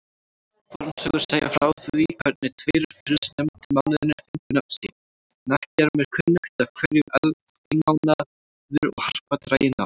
Fornsögur segja frá því hvernig tveir fyrstnefndu mánuðirnir fengu nöfn sín, en ekki er mér kunnugt af hverju einmánuður og harpa dragi nafn.